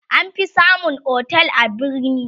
an fi samun otel a birni